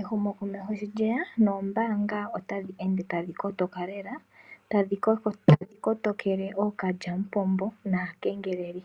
Ehumokomeho sho lyeya nombaanga otadhi ende tadhi kotoka lela. Tadhi kotokele ookalyampombo naakengeleli.